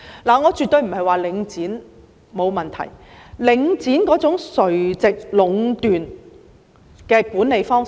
我絕對不是說領展沒有問題，特別是領展那種垂直壟斷的管理方式。